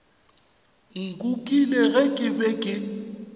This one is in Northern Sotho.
nkukile ge ke be ke